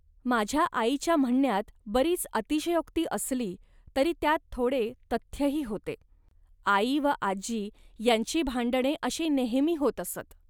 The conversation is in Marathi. माझ्या आईच्या म्हणण्यात बरीच अतिशयोक्ती असली तरी त्यात थोडे तथ्यही होते. आई व आजी यांची भांडणे अशी नेहमी होत असत